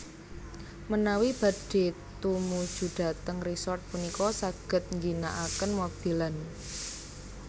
Menawi badhé tumujudhateng resort punika saged ngginakaken mobil lan